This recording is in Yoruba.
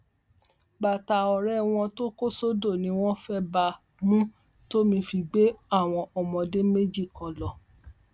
bàtà ọrẹ wọn tó kó sódò ni wọn fẹẹ bá a mu tómi fi gbé àwọn ọmọdé méjì kan lọ